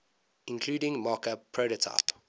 including mockup prototype